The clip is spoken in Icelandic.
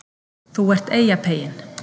ÞÚ ERT EYJAPEYINN